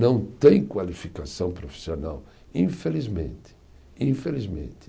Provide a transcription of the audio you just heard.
Não tem qualificação profissional, infelizmente, infelizmente